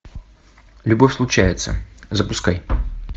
любовь случается запускай